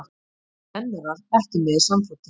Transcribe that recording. Kennarar ekki með í samfloti